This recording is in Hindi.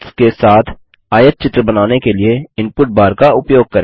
लिस्ट्स के साथ आयतचित्र बनाने के लिए इनपुट बार का उपयोग करें